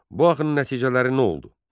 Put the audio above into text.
Bu axının nəticələri nə oldu?